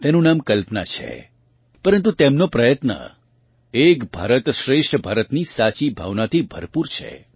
તેનું નામ કલ્પના છે પરન્તુ તેમનો પ્રયત્ન એક ભારત શ્રેષ્ઠ ભારત ની સાચી ભાવનાથી ભરપૂર છે